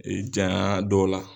Ee jayan dɔw la